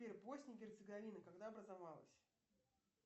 сбер босния и герцеговина когда образовалась